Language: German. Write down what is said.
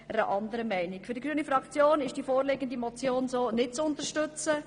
Für die grüne Fraktion ist die vorliegende Motion so nicht zu unterstützen.